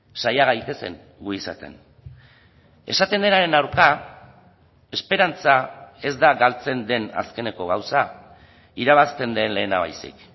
saia gaitezen gu izaten esaten denaren aurka esperantza ez da galtzen den azkeneko gauza irabazten den lehena baizik